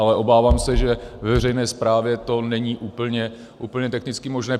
Ale obávám se, že ve veřejné správě to není úplně technicky možné.